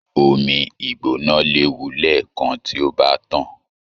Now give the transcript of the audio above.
Omí Igbona léwu lẹẹkan tí o bá tàn.